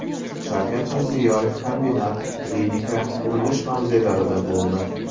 Shavkat Mirziyoyev kombinat , klinika , qurilish mavzelarida bo‘ldi.